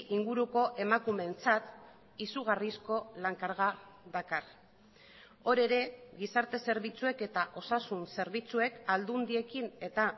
inguruko emakumeentzat izugarrizko lan karga dakar hor ere gizarte zerbitzuek eta osasun zerbitzuek aldundiekin eta